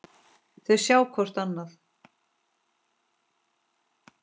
Þau sjá hvort annað.